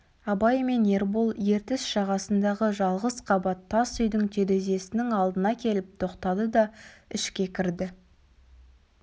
абай мен ербол ертіс жағасындағы жалғыз қабат тас үйдің терезесінің алдына келіп тоқтады да ішке кірді